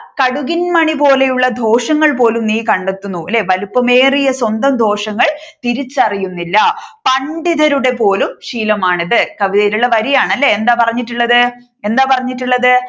കടുകിൻ മണിപോലെയുള്ള ദോഷങ്ങൾ പോലും നീ കണ്ടെത്തുന്നു അല്ലെ വലുപ്പമേറിയ സ്വന്തം ദോഷങ്ങൾ തിരിച്ചറിയുന്നില്ല പണ്ഡിതരുടെ പോലും ശീലമാണിത് കവിതയിൽ ഉള്ള വരിയാണ് അല്ലെ എന്താ പറഞ്ഞിട്ടുള്ളത് എന്താ പറഞ്ഞിട്ടുള്ളത്